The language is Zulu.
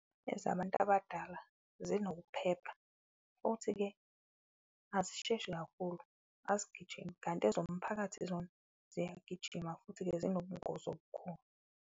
Ezabantu abadala zinokuphela futhi-ke azisheshi kakhulu, azigijimi kanti ezomphakathi zona ziyagijima futhi-ke zinobungozi obukhulu.